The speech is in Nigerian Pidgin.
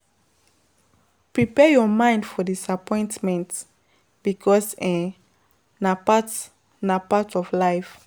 Prepare your mind for diappointment because um na part na part of life